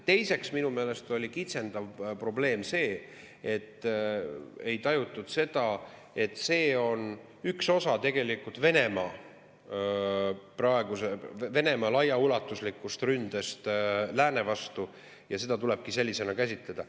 Teiseks, minu meelest oli kitsendav probleem see, et ei tajutud, et see on tegelikult üks osa Venemaa laiaulatuslikust ründest lääne vastu ja et seda tulebki sellisena käsitada.